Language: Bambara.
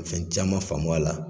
Fɛn caman faamu a la